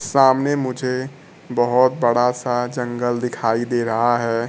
सामने मुझे बहोत बड़ा सा जंगल दिखाई दे रहा है।